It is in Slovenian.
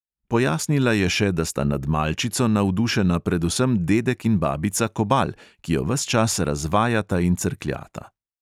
Pojasnila je še, da sta nad malčico navdušena predvsem dedek in babica kobal, ki jo ves čas razvajata in crkljata.